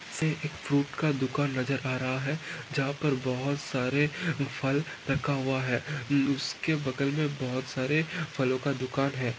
हे एक फ्रूट का दुकान नज़र आ रहा है जहा पर बहुत सारे फल रखा हुआ है उसके बगल मे बहुत सारे फलोका दुकान है।